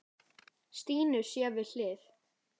Stínu sér við hlið.